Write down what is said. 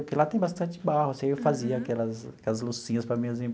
Porque lá tem bastante barro, assim, eu fazia aquelas aquelas loucinhas para minhas